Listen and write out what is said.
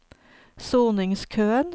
soningskøen